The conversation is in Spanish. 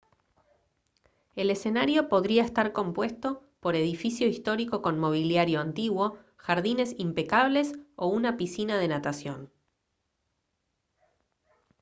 el escenario podría estar compuesto por edificio histórico con mobiliario antiguo jardines impecables o una piscina de natación